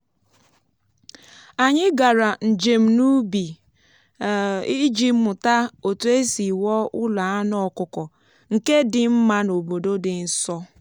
ọzụzụ ha gbasara ịkụ nri ube gụnyere ime kandụl um site n’iji um wax sitere n’ọkpụkpụ mmanụ um a chụpụtara.